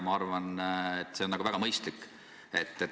Ma arvan, et see on väga mõistlik.